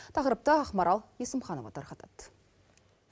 тақырыпты ақмарал есімханова тарқатады